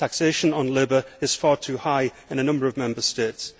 Taxation on labour is far too high in a number of Member States.